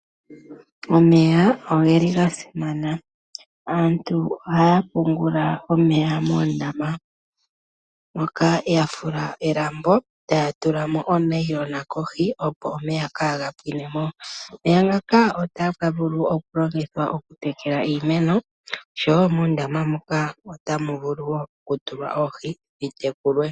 Omeya ogeli ga simana. Aantu oha ya pungula omeya moondama moka ya fula elambo e ta ya tula mo oonayilona kohi opo omeya ka ga pwine mo. Omeya ngaka ota ga vulu okulongithwa okutekela iimeno oshowo muundama muka otamu vulu woo okutulwa oohi dhi tekulwe.